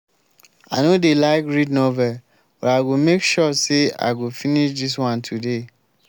i no dey like read novel but i go make sure say i go finish dis one today